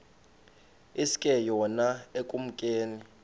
iske yona ekumkeni